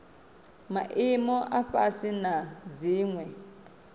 maimo a fhasi na dziwe